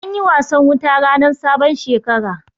Anyi wasan wuta rannan sabon Shekara.